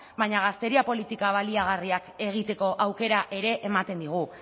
baina gazteria politika baliagarriak egiteko aukera ere ematen digu